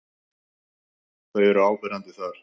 Þau eru áberandi par.